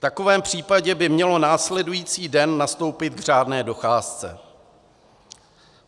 V takovém případě by mělo následující den nastoupit k řádné docházce.